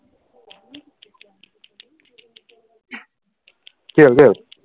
কি হল কি হল